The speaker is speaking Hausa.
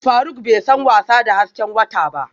Faruk bai san wasa da hasken wata ba